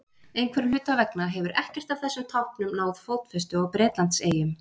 Einhverra hluta vegna hefur ekkert af þessum táknum náð fótfestu á Bretlandseyjum.